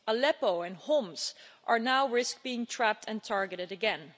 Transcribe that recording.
Aleppo and Homs now risk being trapped and targeted again.